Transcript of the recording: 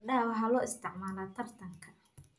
Fardaha waxaa loo isticmaalaa tartanka.